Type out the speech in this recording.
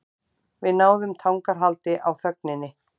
Við náðum tangarhaldi á þögninni.